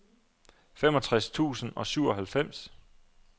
femogtres tusind og syvoghalvfems